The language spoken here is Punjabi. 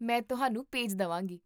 ਮੈਂ ਤੁਹਾਨੂੰ ਭੇਜ ਦੇਵਾਂਗੀ